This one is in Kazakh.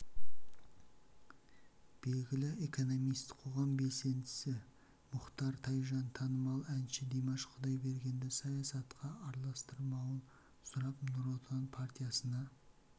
белгілі экономист қоғам белсендісі мұхтар тайжан танымал әнші димаш құдайбергенді саясатқа араластырмауын сұрап нұр отан партиясына